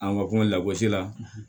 An ka kuma lagosi la